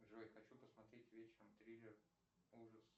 джой хочу посмотреть вечером триллер ужас